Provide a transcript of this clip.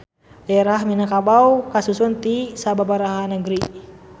Daerah Minangkabau kasusun ti sababaraha nagari